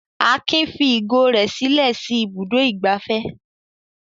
Akin fi ìgò rẹ̀ sílẹ̀ sí Ibùdó-ìgbafẹ́?